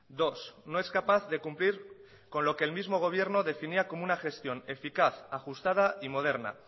dos no es capaz de cumplir con lo que el mismo gobierno definía como una gestión eficaz ajustada y moderna